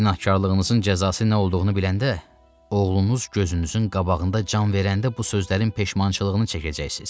İnadkarlığınızın cəzası nə olduğunu biləndə, oğlunuz gözünüzün qabağında can verəndə bu sözlərin peşmançılığını çəkəcəksiz.